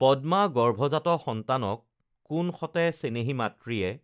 পদ্মা গৰ্ভজাত সন্তানক কোন সতে চেনেহী মাতৃয়ে